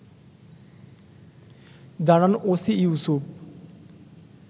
জানান ওসি ইউসুফ